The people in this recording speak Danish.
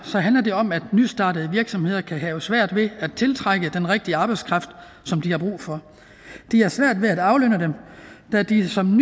handler det om at nystartede virksomheder kan have svært ved at tiltrække den rigtige arbejdskraft som de har brug for de har svært ved at aflønne dem da de som